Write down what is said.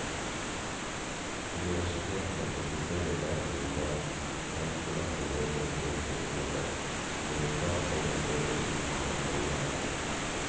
Universitetene praktiserer derfor i dag selvpålagte regler på dette området som ligger klart foran det departementet målbærer.